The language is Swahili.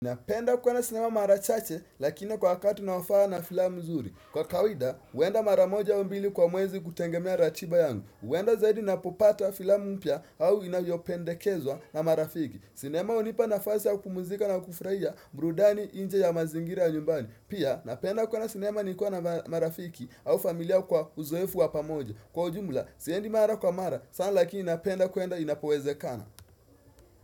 Napenda kwenda sinema marachache lakina kwa wakati unaofaa na filamu zuri. Kwa kawida, huenda maramoja aumbili kwa mwezi kutegemea ratiba yangu. Huenda zaidi ninapopata filamu mpya au inayopende kezwa na marafiki. Sinema hunipa na fasi ya kupumuzika na kufuraia burudani nje ya mazingira nyumbani. Pia, napenda kuona sinema nikiwa na marafiki au familia kwa uzoefu wapamoja. Kwa ujumla, siendi mara kwa mara, sana lakini napenda kwenda inapoweze kana.